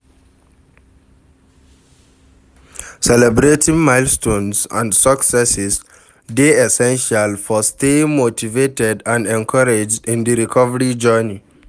Celebrating milestones and successes dey essential for staying motivated and encouraged in di recovery journey.